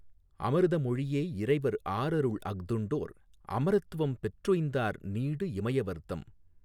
அமிர்தமொழி யேஇறைவர் ஆரருள் அஃதுண்டோர் அமரத்வம் பெற்றுய்ந்தார் நீடு இமயவர்தம்